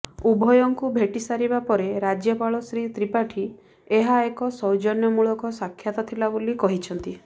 ଉଭୟଙ୍କୁ ଭେଟିସାରିବା ପରେ ରାଜ୍ୟପାଳ ଶ୍ରୀ ତ୍ରିପାଠୀ ଏହା ଏକ ସୌଜନ୍ୟମୂଳକ ସାକ୍ଷାତ ଥିଲା ବୋଲି କହିଛନ୍ତି